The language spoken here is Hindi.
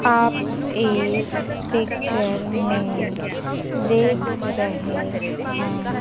आप इस पिक्चर में देख रहे हैं।